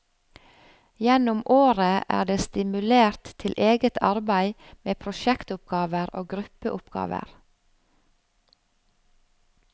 Gjennom året er det stimulert til eget arbeid med prosjektoppgaver og gruppeoppgaver.